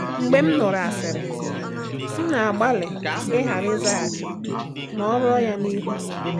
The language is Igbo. Mgbe m nụrụ asịrị, m na-agbalị ịghara ịzaghachi ma ọrọ ya n’ihu.